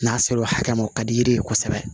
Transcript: N'a sera o hakɛ ma o ka di yiri ye kosɛbɛ